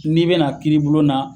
N'i be na kiiri bulon na